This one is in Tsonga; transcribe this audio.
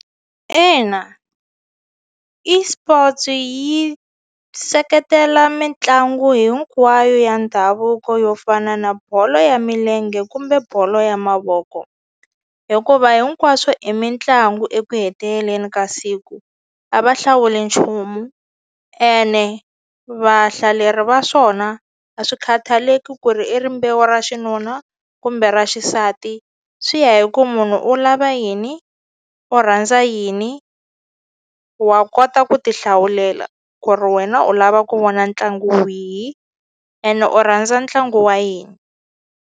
Ina eSports yi seketela mitlangu hinkwayo ya ndhavuko yo fana na bolo ya milenge kumbe bolo ya mavoko hikuva hinkwaswo i mitlangu eku heteleleni ka siku a va hlawuli nchumu ene vahlaleri va swona a swi khataleki ku ri i rimbewu ra xinuna kumbe ra xisati nsati swi ya hi ku munhu u lava yini u rhandza yini wa kota ku ti hlawulela ku ri wena u lava ku vona ntlangu wihi ene u rhandza ntlangu wa yini.